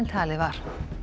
talið var